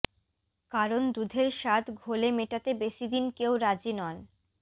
কারণ দুধের স্বাদ ঘোলে মেটাতে বেশিদিন কেউ রাজি নন